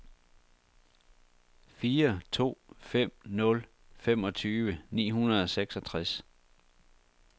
fire to fem nul femogtyve ni hundrede og seksogtres